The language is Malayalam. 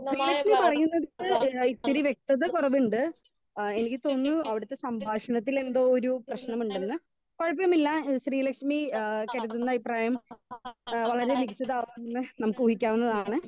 സ്പീക്കർ 2 ശ്രീലക്ഷ്മി പറയുന്നത് ഏഹ് ഇത്തിരി വ്യെക്തത കുറവിണ്ട് ഏഹ് എനിക്ക് തോന്നുന്നു അവിടുത്തെ സംഭാഷണത്തിൽ എന്തോ ഒരു പ്രേശ്നമുണ്ടെന്ന് കൊഴപ്പമില്ല ശ്രീലക്ഷ്മി ഏഹ് കരുതുന്ന അയിപ്രായം എഹ് വളരെ മികച്ചധാർത്തും ന്ന് നമ്മുക്ക് ഊഹിക്കാവുന്നതാണ്.